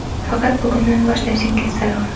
Faqat bugundan boshlashingiz zarur.